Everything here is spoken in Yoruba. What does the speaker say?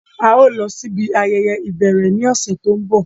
À yóò lọ si ibi ayẹyẹ ibẹrẹ ni ọsẹ to nbọ.